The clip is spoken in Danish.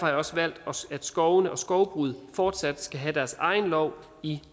jeg også valgt at skovene og skovbruget fortsat skal have deres egen lov i